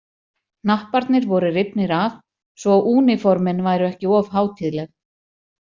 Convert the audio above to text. Hnapparnir voru rifnir af svo að úníformin væru ekki of hátíðleg.